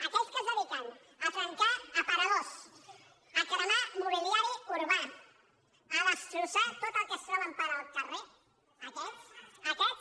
aquells que es dediquen a trencar aparadors a cremar mobiliari urbà a destrossar tot el que es troben pel carrer aquests